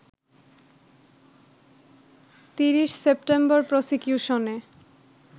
৩০ September প্রসিকিউশনে